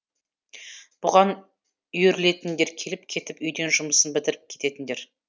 бұған үйірілетіндер келіп кетіп үйден жұмысын бітіріп кететіндер